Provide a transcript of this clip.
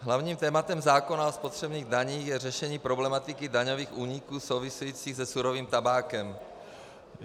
Hlavním tématem zákona o spotřebních daních je řešení problematiky daňových úniků souvisejících se surovým tabákem.